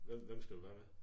Hvem hvem skal du være med?